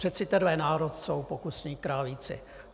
Přece tenhle národ jsou pokusní králíci.